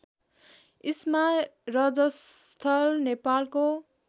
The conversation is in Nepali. इस्मा रजस्थल नेपालको